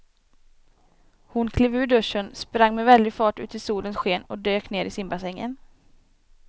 Hon klev ur duschen, sprang med väldig fart ut i solens sken och dök ner i simbassängen.